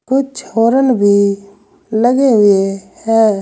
कुछ हॉरन भी लगे हुए हैं।